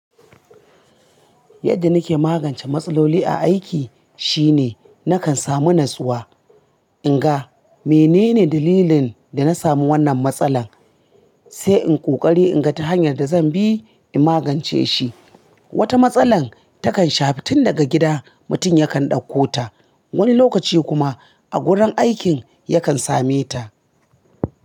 Yadda nake magance matsaloli a aiki shine nakan samu natsuwa, in ga menene dalilin da na sami wannan matsalar, sai in ƙoƙari in ga ta hanyar da zan bi in magance shi. Wata matsala takan shafi tun daga gida mutum yakan ɗauko ta, wani lokaci kuma a gurin aikin yakan same ta.